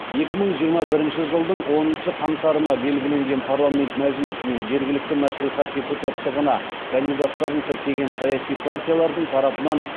екі мың жиырма бірінші жылдың оныншы қаңтарына белгіленген парламент мәжілісі мен жергілікті мәслихат депутаттығына кандидаттарын тіркеген саяси партиялардың тарапынан